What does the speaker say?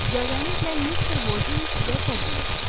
İcazənizlə Mister Boldini sizə təqdim edim.